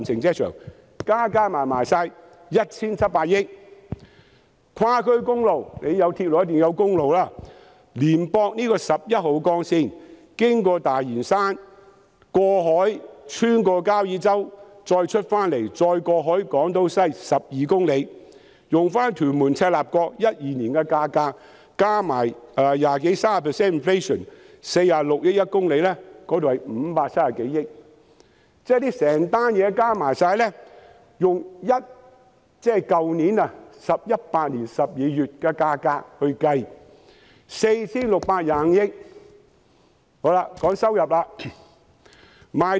跨區公路方面，既然有鐵路，便一定也要有公路，接駁十一號幹線，經過大嶼山，過海穿過交椅洲，再連接港島西，全長12公里，按照屯門至赤鱲角連接路在2012年的價格，加上 20% 至 30% 的 inflation， 以每公里46億元計算，合共是530多億元。